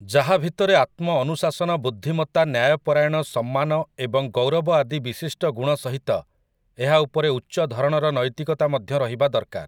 ଯାହା ଭିତରେ ଆତ୍ମ ଅନୁଶାସନ ବୁଦ୍ଧିମତ୍ତା ନ୍ୟାୟପରାୟଣ ସମ୍ମାନ ଏବଂ ଗୌରବ ଆଦି ବିଶିଷ୍ଟଗୁଣ ସହିତ ଏହା ଉପରେ ଉଚ୍ଚଧରଣର ନୈତିକତା ମଧ୍ୟ ରହିବା ଦରକାର ।